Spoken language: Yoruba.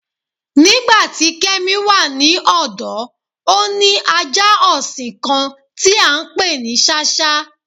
Nígbàtí Kẹ́mí wà ní ọ̀dọ̀, ó ní ajá ọṣìn kán tí a ǹpé ní Sáṣhá.